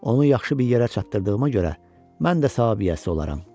Onu yaxşı bir yerə çatdırdığıma görə, mən də savabiyəsi olaram.